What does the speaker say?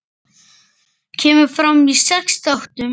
Kemur fram í sex þáttum.